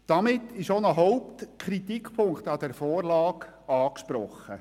Damit ist auch ein Hauptkritikpunkt an dieser Vorlage angesprochen.